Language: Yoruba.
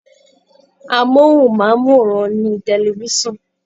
Amóhùnmáwòrán ni tefisan.